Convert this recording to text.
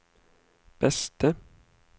beste